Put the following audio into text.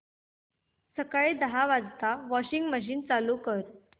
सकाळी दहा वाजता वॉशिंग मशीन चालू कर